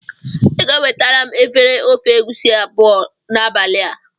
Ị ga-ewetara m efere ofe egusi abụọ n'abalị a.